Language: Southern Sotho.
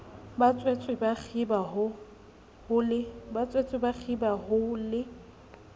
batswetse ba kgiba ho le